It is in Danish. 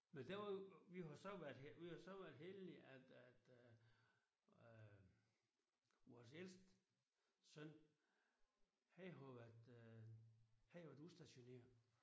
Men der var jo vi har jo så vi har jo så været heldige at at at øh vores ældste søn han har jo været øh han har jo været udstationeret